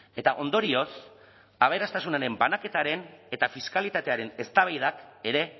eta ondorioz aberastasunaren banaketaren eta fiskalitatearen eztabaida ere